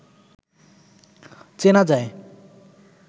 চেনা যায়